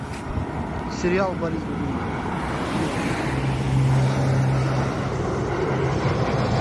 сериал борис годунов новый